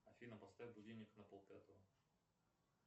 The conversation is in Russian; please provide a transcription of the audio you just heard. афина поставь будильник на полпятого